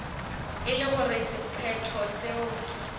e le gore sephetho seo